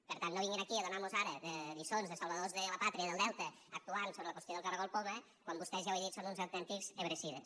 per tant no vinguin aquí a donar mos ara lliçons de salvadors de la pàtria del delta actuant sobre la qüestió del caragol poma quan vostès ja ho he dit són uns autèntics ebrecides